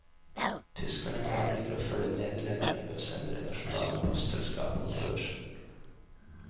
Tyskerne planlegger å følge nederlenderne ved å sende det nasjonale postselskapet på børsen.